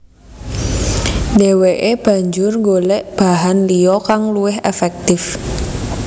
Dheweke banjur golek bahan liya kang luwih efektif